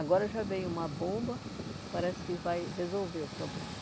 Agora já veio uma bomba, parece que vai resolver o problema.